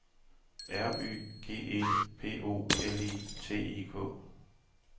R Y G E P O L I T I K